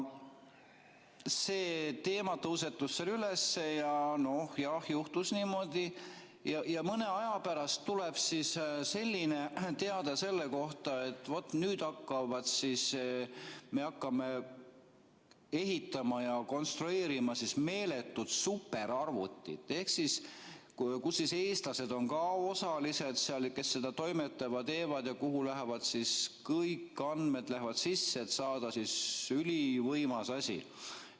See teema tõusetus seal, ja noh, juhtus niimoodi, et mõne aja pärast tuleb selline teade selle kohta, et vot nüüd siis me hakkame ehitama ja konstrueerima meeletut superarvutit, kus siis eestlased on ka osalised, kes seda toimetavad-teevad ja kuhu lähevad kõik andmed sisse, et saada ülivõimas asi.